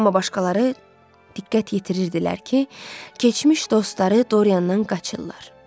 Amma başqaları diqqət yetirirdilər ki, keçmiş dostları Doriyandan qaçırlar.